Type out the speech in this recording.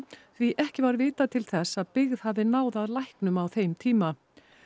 því ekki var vitað til þess að byggð hafi náð að læknum á þeim tíma